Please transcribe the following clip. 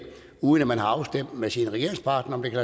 uden at man har afstemt med sin regeringspartner om det kan